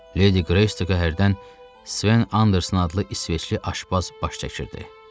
Ledi Qreystka hərdən Sven Anders adlı isveçli aşpaz baş çəkirdi.